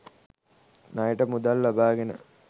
ණයට මුදල් ලබාගෙන